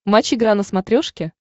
матч игра на смотрешке